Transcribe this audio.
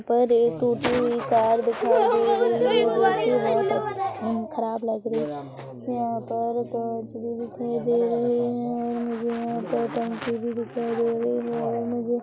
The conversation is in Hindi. पर एक टूटी हुई कार दिखाई दे रही है जोकि बहोत अच्छ अम ख़राब लग रही है यहाँ पर कांच भी दिखाई दे रहे है और मुझे यहाँ पर टंकी भी दिखाई दे रही है मुझे --